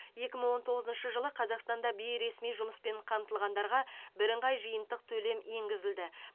екі мың он тоғызыншы жылы қазақстанда бейресми жұмыспен қамтылғандарға бірыңғай жиынтық төлем енгізілді